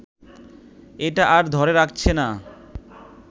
এটা আর ধরে রাখছে না